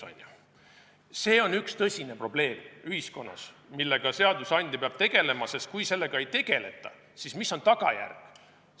See on ühiskonnas tõsine probleem, millega seadusandja peab tegelema, sest kui sellega ei tegeleta, siis on sellel oma tagajärjed.